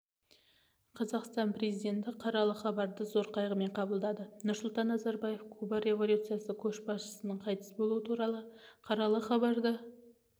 қазақстан президенті қаралы хабарды зор қайығымен қабылдады нұрсұлтан назарбаев куба революциясы көшбасшысыныңқайтыс болуы туралы қаралы хабарды